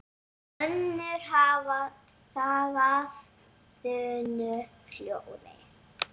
Önnur hafa þagað þunnu hljóði.